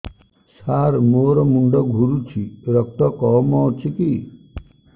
ସାର ମୋର ମୁଣ୍ଡ ଘୁରୁଛି ରକ୍ତ କମ ଅଛି କି